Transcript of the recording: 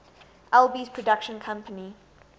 alby's production company